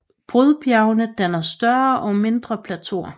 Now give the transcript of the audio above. Brudbjergene danner større og mindre plateauer